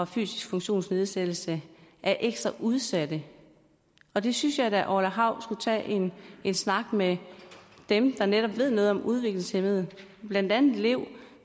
fysisk funktionsnedsættelse er ekstra udsatte og det synes jeg da orla hav skulle tage en snak om med dem der netop ved noget om udviklingshæmmede blandt andet lev